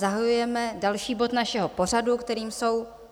Zahajujeme další bod našeho pořadu, kterým jsou